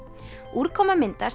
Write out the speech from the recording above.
úrkoma myndast